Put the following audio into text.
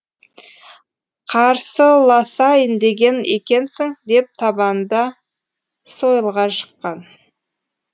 қарсыласайын деген екенсің деп табанда сойылға жыққан